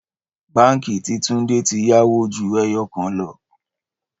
Báńkì tí Túndé tí yáwó ju ẹyọ kan lọ.